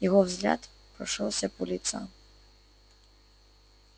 его взгляд прошёлся по лицам